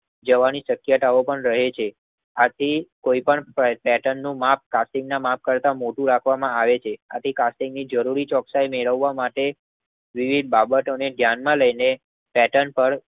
જવાની શક્યતાઓ પણ રહે છે. આથી કોઈ પણ પેટર્ન નું માપ કાર્ટિંગ ના મમાપ કરતા મોટું રાખવામાં આવે છે. આથી કાર્ટિંગ જરૂરી ચોકસાઈ મેળવવા માટે વિવિધ બાબતો ની ધ્યાન માં લાય ન પેટર્ન પર